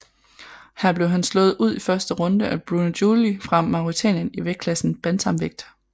Her blev han slået ud i første runde af Bruno Julie fra Mauretanien i vægtklassen bantamvægt